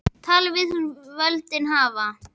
Tala við þá sem völdin hafa.